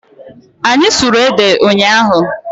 Anyị sụrụ ede ụnyaahụ.